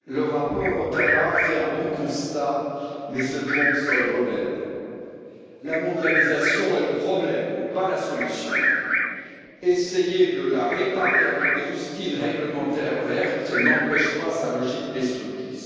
Monsieur le Président, le rapport Hautala fait un bon constat mais se trompe sur les remèdes. La mondialisation est le problème, pas la solution. Essayer de la réparer avec des rustines réglementaires vertes n'empêche pas sa logique destructrice.